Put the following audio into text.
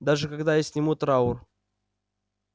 даже когда я сниму траур